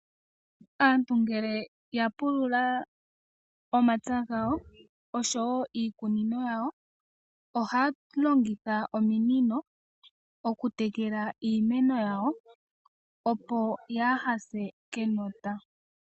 Aantu ngele ya pulula omapya gawo oshowo iikunino yawo ohaya longitha ominino okutekela iimeno yawo, opo yaaha se kenota.